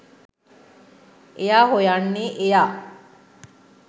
එයා හොයන්නේ එයා